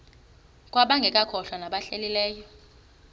kwabangekakholwa nabahlehli leyo